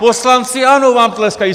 Poslanci ANO vám tleskají.